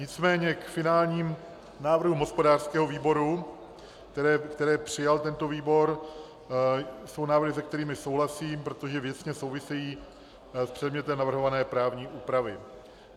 Nicméně k finálním návrhům hospodářského výboru, které přijal tento výbor, jsou návrhy, se kterými souhlasím, protože věcně souvisejí s předmětem navrhované právní úpravy.